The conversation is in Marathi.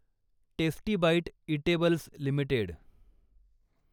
tasty Bite Eatables limited